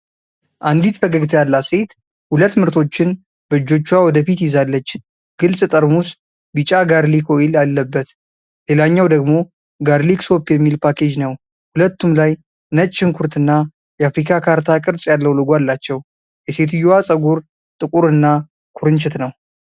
አንዲት ፈገግታ ያላት ሴት ሁለት ምርቶችን በእጆቿ ወደ ፊት ይዛለች። ግልፅ ጠርሙስ ቢጫ ጋርሊክ ኦይል አለበት። ሌላኛው ደግሞ ጋርሊክ ሶፕ የሚል ፓኬጅ ነው። ሁለቱም ላይ ነጭ ሽንኩርትና የአፍሪካ ካርታ ቅርፅ ያለው ሎጎ አላቸው። የሴትየዋ ፀጉር ጥቁርና ኩርንችት ነው።